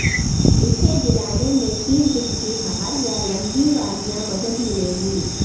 اسے دلانے میں تین جہتی ہار یا لمبی بالیاں مدد ملے گی